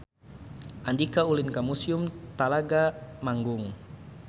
Andika ulin ka Museum Telaga Manggung